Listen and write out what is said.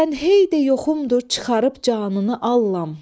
Sən hey də yoxumdur çıxarıb canını allam.